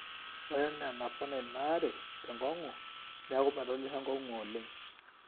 ore enaa enapona inaare tenkong'u neeku medolisho enkong'u oleng